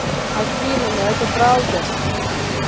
афина но это правда